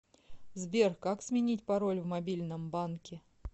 сбер как сменить пароль в мобильном банке